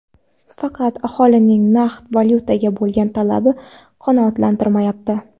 Faqat aholining naqd valyutaga bo‘lgan talabi qanoatlantirilmayapti.